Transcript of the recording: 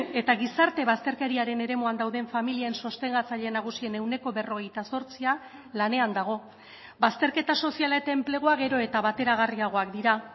eta gizarte bazterkeriaren eremuan dauden familien sostengatzaile nagusien ehuneko berrogeita zortzia lanean dago bazterketa soziala eta enplegua gero eta bateragarriagoak dira